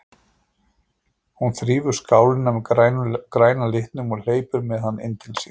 Hún þrífur skálina með græna litnum og hleypur með hana inn til sín.